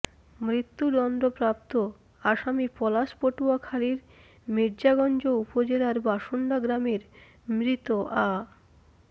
মৃত্যুদণ্ডপ্রাপ্ত আসামি পলাশ পটুয়াখালীর মির্জাগঞ্জ উপজেলার বাসণ্ডা গ্রামের মৃত আ